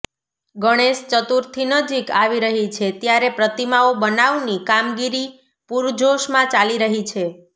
ગણેશ ચતુર્થી નજીક આવી રહી છે ત્યારે પ્રતિમાઓ બનાવની કામગીરી પુરજોશમાં ચાલી રહી છે